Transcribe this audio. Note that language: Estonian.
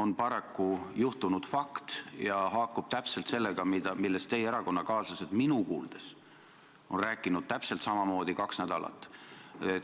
on paraku juhtunud fakt ja haakub täpselt sellega, millest teie erakonnakaaslased on minu kuuldes kaks nädalat rääkinud.